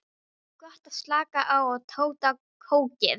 Gott að slaka á og totta kókið.